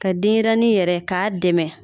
Ka denyɛrɛni yɛrɛ k'a dɛmɛ